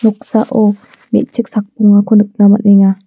noksao me·chik sakbongako nikna man·enga.